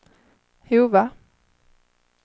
Hova